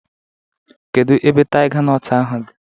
Kedu ebe taiga nọt ahụ dị?